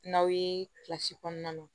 N'aw ye kilasi kɔnɔna na